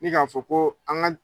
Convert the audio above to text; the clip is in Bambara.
Ne ka fɔ ko an ka